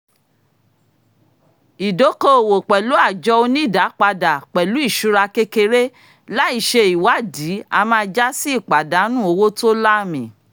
ìdóko-òwò pẹ̀lú àjọ onídáàpadà-pẹ̀lú-ìṣura kékeré láì ṣe ìwádìí a máa jásí ìpàdánù owó tó láàmì